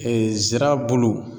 Ee nzira bulu